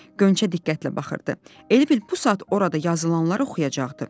Qönçə diqqətlə baxırdı, elə bil bu saat orada yazılanları oxuyacaqdı.